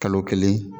Kalo kelen